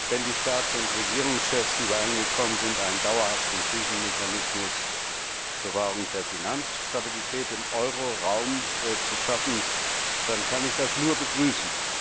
Wenn die Staats und Regierungschefs übereingekommen sind, einen dauerhaften Krisenmechanismus zur Wahrung der Finanzstabilität im Euro Raum zu schaffen, dann kann ich das nur begrüßen.